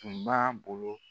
Tun b'a bolo.